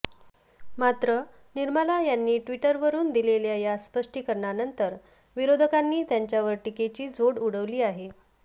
मात्र निर्मला यांनी ट्विटरवरुन दिलेल्या या स्पष्टीकरणानंतर विरोधकांनी त्यांच्यावर टीकेची झोड उठवली आहे